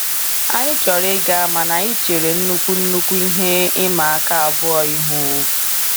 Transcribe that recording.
Anyị chọrọ ịga mana anyị chere nnukwu nnukwu ihe ịma aka abụọ ihu.